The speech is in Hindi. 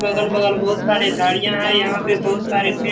बगल बगल बहुत सारे झाड़ियाँ हैं | यहाँ पे बहुत सारे पेड़ --